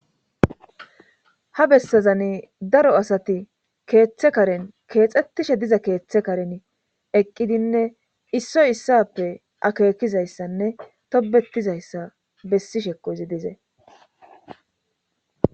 Ha bessazani daro asati keeththe karen keexxettishe diza keeththe karen eqqidinne issoy issappe akeekizayssanne tobetizayssa bessi shekozi dize.